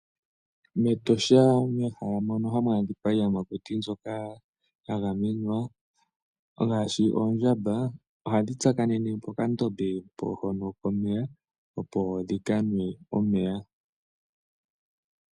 Metosha meshala moka hamu adhika iiyamakuti mbwoka ya gamenwa ngaashi ondjamba, ohadhi tsakanene pokandombe hono komeya opo dhikanwe omeya.